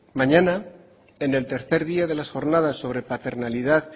mañana en el tercer día de las jornadas sobre paternalidad